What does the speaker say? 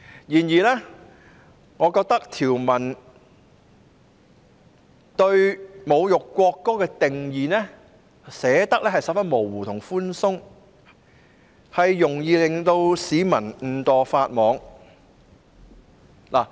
然而，我認為條文對侮辱國歌的定義寫得相當模糊和寬鬆，容易令市民誤墮法網。